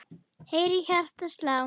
heyri hjartað slá.